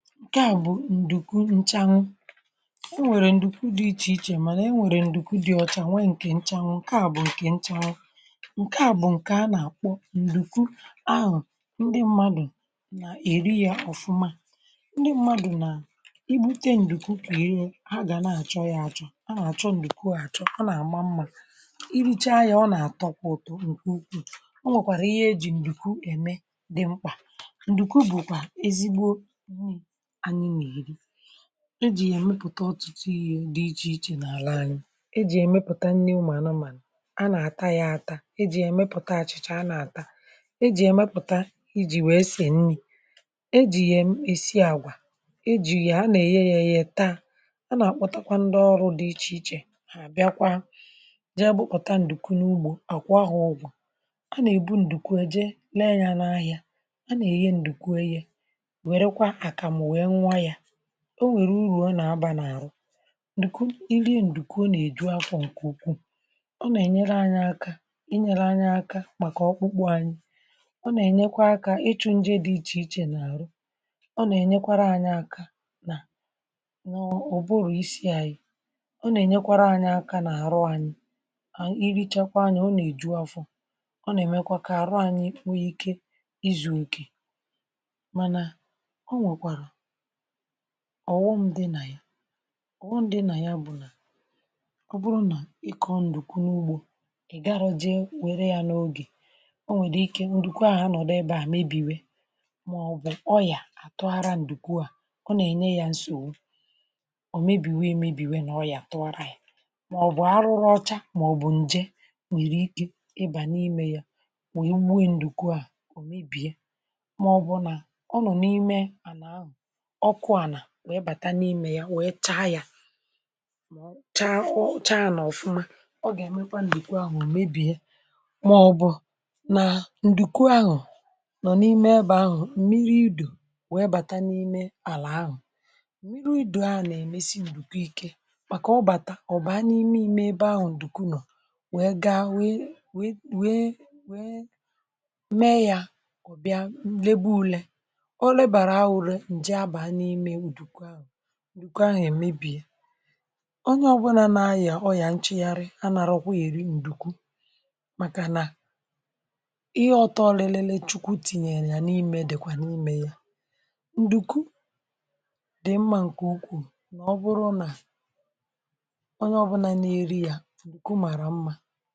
Ǹke à, um, bụ̀ ǹdùku nchanu. Ọ nwèrè ǹdùku dị iche iche, um mà ọ nwèrèkwa ǹdùku dị ọ̀cha nwanyị, ǹkè nchanu. Ǹke à bụ̀kwa ǹdùku a nà-àkpọ ǹdùku ahụ̀, ndị mmadụ̀ nà-èrì ya ọ̀fụma... Ndị mmadụ̀, um, na-ègbute ǹdùku, pịyọ ya, ha gà na-àchọ ya àchọ̇, um n’ihi nà ǹdùku ahụ̀ mara mma iricha ya, ọ na-àtọ, ma ọ na-akwọ̀ ùtù n’ahụ mmadụ. Ǹke a bụ̀kwa, um ihe ejì ǹdùku eme dị mkpà. Ǹdùku bụ̀ ezigbo ihe eji èmepụ̀ta ọtụtụ ihe dị iche iche n’àlà anyị̇ ejì èmepụ̀ta nni̇ ụmụ̀ anụmànụ̀, a nà-àta ya àta, ejìkwa ya èmepụ̀ta achị̀cha, a nà-àta ya, ejìkwa ya èmepụ̀ta iji̇ wee sèe nni̇, ejì ya èsi àgwà, ejìkwa ya na-èye yá yá taa… A nà-àkpọtakwa, um, ndị ọrụ̇ dị iche iche, ha bịakwa jị ebepụ̇ta ǹdùku n’ugbȯ àkwọ ha. Ọgwù a nà-èbu ǹdùku eje lee ya n’ahịa, a nà-èye ǹdùku, um ọ nà-ènye ego. Ǹdùku, um, nà-abà uru n’àrụ n’ihi nà ọ na-enye àrụ ike, ọ na-èju afọ̀, ọ nà-ènyere anyị aka nà ọkpụkpụ, ọ nà-ènyekwa aka ịchụ̀ nje dị iche iche n’àrụ... Ọ nà-ènyekwa anyị aka nà ụ̀bụrụ̀ isi, nà àrụ anyị dum. Irichakwa ya, um, ọ nà-èju afọ̇, ọ nà-èmekwa kà àrụ um anyị nwee ike izù òkè. Mà, um, ọghụm dị nà ya. Ǹdùku ahụ̀ nwere ụfọdụ ihe isiike, dịka ọ bụrụ nà ị kọọ ǹdùku n’ugbȯ, i garọjịe, ọ bụrụ nà ị gaghị um e were ya n’ogè, ọ nwere ike ị̀bà n’ọ̀nọdụ ebe ọ̀ gà mebie... Màọbụ̀ ọ̀ bụrụ nà àlà aha àtụ̀gharịrị, ǹdùku ahụ̀ nà-enweta nsògbu ọ̀ nwere ike mebìe, maọbụ̀ ọ̀ nwere ike ọyà tụgharịa yá. um Ọ bụrụ nà a rụrụ ya ọcha, maọbụ̀ njè banye n’ime ya,.. ọ̀ ga-ebibi ya kpamkpam. Màọbụ̀ ọ̀ bụrụ nà ǹdùku ahụ̀ nọ̀ n’ebe mmiri̇ idù bàtàrà, àlà ahụ̀ gà-esi ike, ọ gà-èmekwa ka ǹdùku ahụ̀ mebie. Mmiri̇ idù ahụ̀, um, nà-èmesi um ǹdùku ahụ̀ ike, n’ihi na ọ bàtà, ọ̀ bụ̀ ànyị̀ mee ebe ahụ̀, ǹdùku ahụ̀ gà-aka njọ̀. Ọ bụrụ nà e lebara ya anya, e mee ule, a chọtara ọyà maọbụ̀ nchị̀gharị̀, a gaghịkwa eri ǹdùku ahụ̀. Mà, um, ihe ọtụ̀ọ̀lị̀lị̀lị Chukwu tinyèrè n’ime ya, dịkwa n’ime ya, ǹdùku dị mma, ǹkè ukwù nà ọ̀ bụrụ nà onye ọbụla nà-èrì ya, ọ̀ gà-èri ya n’ọfụma.